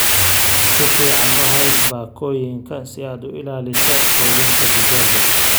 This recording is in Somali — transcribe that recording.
Si fiican u hay baakooyinka si aad u ilaaliso quudinta digaagga.